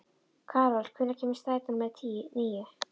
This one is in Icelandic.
Karol, hvenær kemur strætó númer níu?